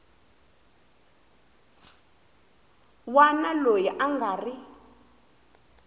wana loyi a nga ri